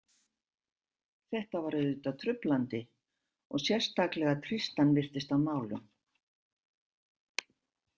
Þetta var auðvitað truflandi og sérstaklega Tristan virtist á nálum.